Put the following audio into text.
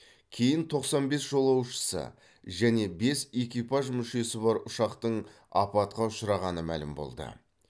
кейін тоқсан бес жолаушысы және бес экипаж мүшесі бар ұшақтың апатқа ұшырағаны мәлім болды